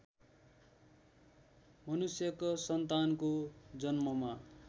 मनुष्यको सन्तानको जन्ममा